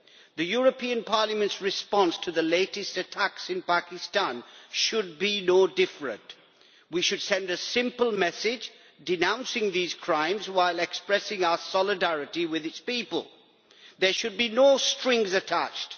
The European Parliament's response to the latest attacks in Pakistan should be no different. We should send a simple message, denouncing these crimes while expressing our solidarity with its people. There should be no strings attached.